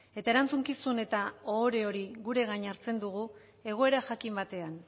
eta erantzukizun eta ohore hori gure gain hartzen dugu egoera jakin batean